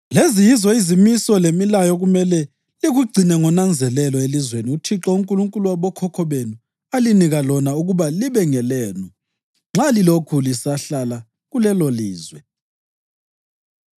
“Lezi yizo izimiso lemilayo okumele likugcine ngonanzelelo elizweni uThixo uNkulunkulu wabokhokho benu alinika lona ukuba libe ngelenu nxa lilokhu lisahlala kulelolizwe.